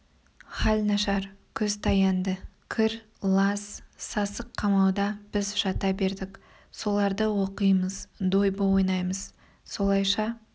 хал нашар күз таянды кір лас сасық қамауда біз жата бердік соларды оқимыз дойбы ойнаймыз солайша